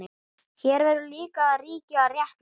Hér verður líka að ríkja réttlæti.